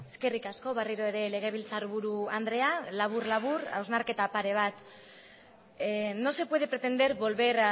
eskerrik asko berriro ere legebiltzarburu andrea labur labur hausnarketa pare bat no se puede pretender volver